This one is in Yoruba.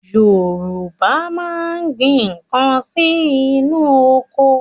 Yorùbá máa ń gbin nǹkan sí inú oko.